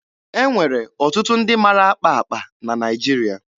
E nwere ọtụtụ ndị mara akpa akpa na Naịjiria.